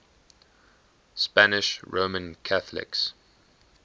spanish roman catholics